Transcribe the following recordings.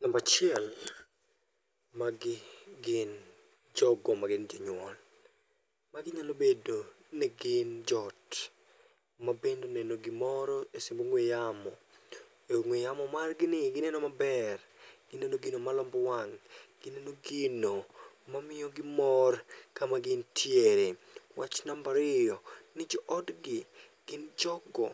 Nambachiel, magi gin jogo magin jonyuol. Magi nyalo bedo ni gin jo ot mabende oneno gimoro e simb ong'we yamo. E ong'we yamo margi ni gineno maber, gineno gino malombo wang', gineno gino mamiyogi mor kama gintiere. Wach nambariyo, ni jo odgi gin jogo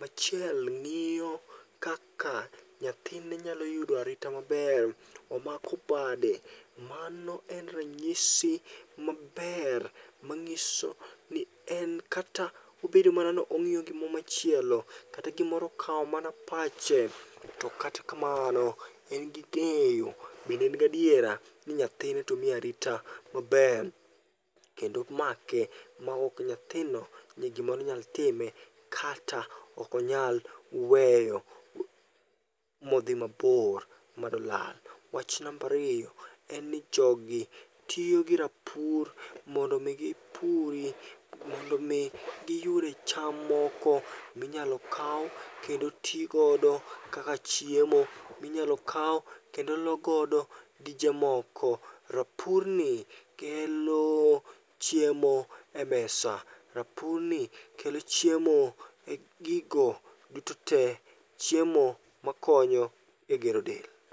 machiel ng'iyo kaka nyathine nyalo yudo arita maber, omako bade. Mano en ranyisi maber mang'iso ni en kata obedo mana ni ong'iyo gimoro machielo, kata gimoro okawo mana pache. To kata kamano en gi geeyo bende en gadiera ni nyathine tomi arita maber, kendo make maokni nyathino ni gimoro ni nyal time. Kata okanyal weyo modhi mabor madolal. Wach nambariyo en ni jogi tiyo gi rapuri mondo mi giyude cham moko minyalo kaw kendo tigodo kaka chiemo minyalo kaw kendo logodo dije moko. Rapurni kelo chiemo e mesa, rapurni kelo chiemo e gigo duto te. Chiemo makonyo e gero del.